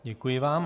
Děkuji vám.